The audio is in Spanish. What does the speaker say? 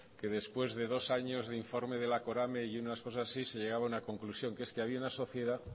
que después de dos años de informe de la corame y unas cosas así se llegaba a una conclusión que es que había una sociedad